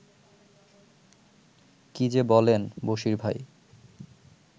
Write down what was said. কী যে বলেন, বশীর ভাই